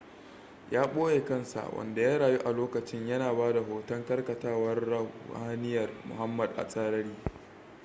ya ɓoye kansa wanda ya rayu a lokacin yana ba da hoton karkatawar ruhaniyar muhammad a tsarari